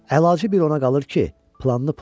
Əlacı bir ona qalır ki, planını pozmasın.